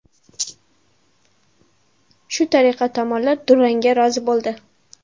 Shu tariqa tomonlar durangga rozi bo‘ldi.